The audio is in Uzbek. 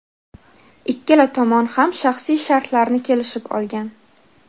Ikkala tomon ham shaxsiy shartlarni kelishib olgan.